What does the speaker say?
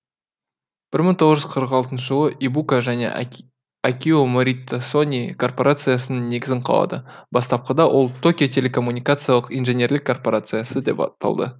бір мың тоғыз жүз қырық алтыншы жылы ибука және акио морита сони корпорациясының негізін қалады бастапқыда ол токио телекоммуникациялық инженерлік корпорциясы деп аталды